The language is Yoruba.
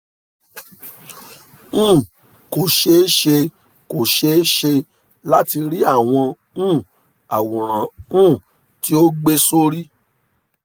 um " kò ṣeé ṣe kò ṣeé ṣe láti rí àwọn um àwòrán um tí o gbé sórí